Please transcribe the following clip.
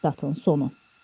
Statın sonu.